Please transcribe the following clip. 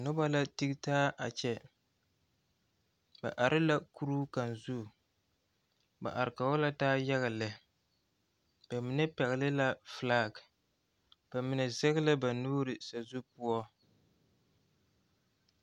Noba la tigi taa a kyɛ ba are la kuruu kaŋa zu ba are Kog la taa yaga lɛ ba mine pɛgele la felaa ba mine sege la ba nuure sazu poɔ